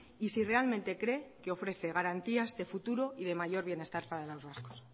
y si realmente cree que ofrece garantías de futuro y de mayor bienestar para los vascos